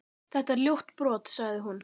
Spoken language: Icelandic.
Þetta er ljótt brot, sagði hún.